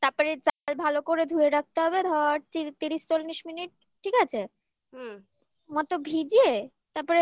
তারপরে চাল ভালো করে ধুয়ে রাখতে হবে ধর তিরিশ চল্লিশ মিনিট ঠিক আছে হুম আমারতো ভিজে